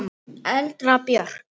Erla Björk.